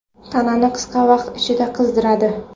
Tanani qisqa vaqt ichida qizdiradi.